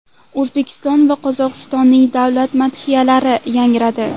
O‘zbekiston va Qozog‘istonning davlat madhiyalari yangradi.